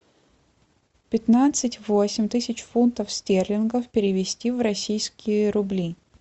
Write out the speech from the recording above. пятнадцать восемь тысяч фунтов стерлингов перевести в российские рубли